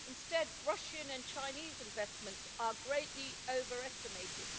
Instead, Russian and Chinese investments are greatly overestimated.